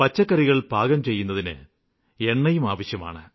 പച്ചക്കറികള് പാകംചെയ്യുന്നതിന് എണ്ണയും ആവശ്യമാണ്